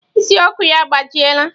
Ịsị Ọkụ ya agbajiela.